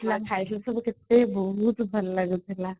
actually ସବୁ କେତେ ବହୁତ ଭଲ ଲାଗୁଥିଲା